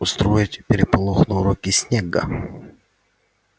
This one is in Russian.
устроить переполох на уроке снегга